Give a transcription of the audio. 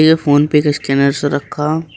ये PhonePe का scanner रखा--